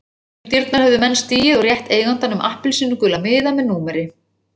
Inn um dyrnar höfðu menn stigið og rétt eigandanum appelsínugula miða með númeri.